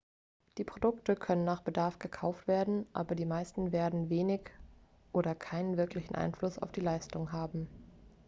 die produkte können nach bedarf gekauft werden aber die meisten werden wenig oder keinen wirklichen einfluss auf die leistung haben